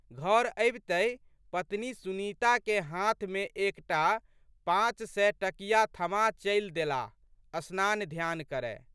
घर अबितहि पत्नी सुनीताके हाथमे एक टा पाँचसय टकिया थमा चलि देलाह स्नानध्यान करए।